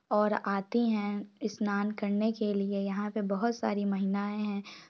और आती है यहाँ पे स्नान करने के लिए बहुत सारी महिलाये हैं।